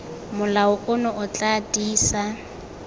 molao ono o tla tiisa